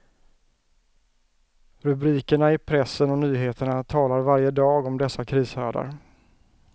Rubrikerna i pressen och nyheterna talar varje dag om dessa krishärdar.